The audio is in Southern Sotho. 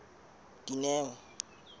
dineo